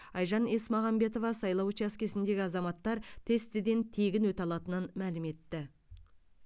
айжан есмағамбетова сайлау учаскесіндегі азаматтар тестіден тегін өте алатынын мәлім етті